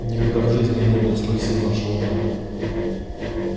никогда в жизни я не был столь сильно ошеломлён